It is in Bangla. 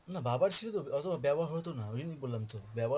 না বাবার ছিল, অতটা ব্যবহার হতো না ওই জন্যই বললাম তো ব্যবহার